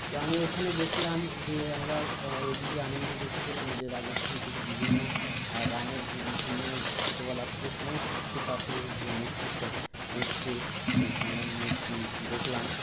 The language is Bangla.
তো আমি এখানে দেখলাম যে আমরা ABP আনন্দে দেখেছিলাম যে রাজস্থান থেকে বিভিন্ন রামের যে বিভিন্ন ছোটোবেলা থেকে সমস্ত কিছু পাথরের যে মূর্তি সব এসছে ঐখানে মূর্তি দেখলাম